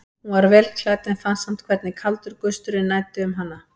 Hún var vel klædd en fann samt hvernig kaldur gusturinn næddi um hana.